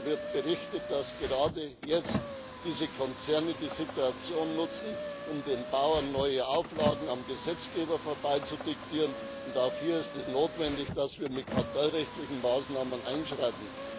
Mir wird berichtet, dass gerade jetzt diese Konzerne die Situation nutzen, um den Bauern neue Auflagen am Gesetzgeber vorbei zu diktieren und auch hier ist es notwendig, dass wir mit kartell rechtlichen Maßnahmen einschreiten.